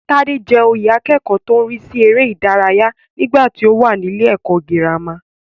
Tádé jẹ oyè akẹ́kọ̀ọ́ tó ń rísí eré ìdárayá nígbàtí ó wà nílé ẹ̀kọ́ gírámà.